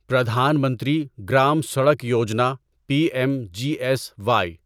Pradhan Mantri Gram Sadak Yojana P M G S Y